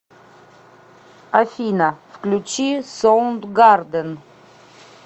афина включи соундгарден